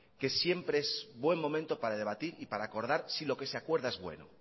que siempre es buen momento para debatir y para acordar si lo que se acuerda es bueno